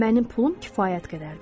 Mənim pulum kifayət qədərdir.